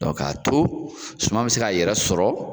Dɔn k'a to suma bi se ka yɛrɛ sɔrɔ